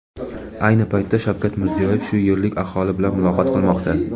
Ayni paytda Shavkat Mirziyoyev shu yerlik aholi bilan muloqot qilmoqda.